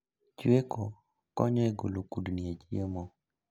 Chweko konyo e golo kudni e chiemo